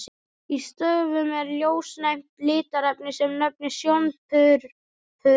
Í stöfum er ljósnæmt litarefni, sem nefnist sjónpurpuri.